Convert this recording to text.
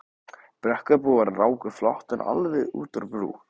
Brekkubúar ráku flóttann alveg út á brú.